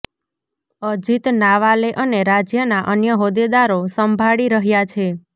અજીત નાવાલે અને રાજ્યના અન્ય હોદ્દેદારોે સંભાળી રહ્યા છે